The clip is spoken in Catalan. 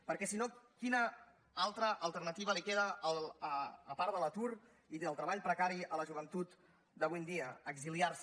perquè si no quina altra alternativa li queda a part de l’atur i del treball precari a la joventut d’avui en dia exiliar se